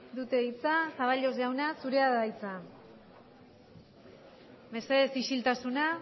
dute hitza zaballos jauna zurea da hitza mesedez isiltasuna